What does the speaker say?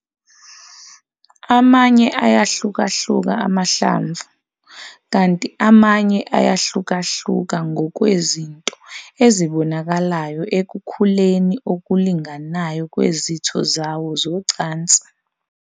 Amanye ayahlukahluka emahlamvu, kanti amanye ayahlukahluka ngokwezinto ezibonakalayo ekukhuleni okulinganayo kwezitho zawo zocansi.